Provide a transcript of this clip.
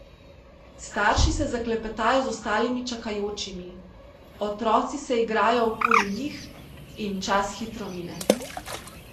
Starši se zaklepetajo z ostalimi čakajočimi, otroci se igrajo okoli njih in čas hitro mine.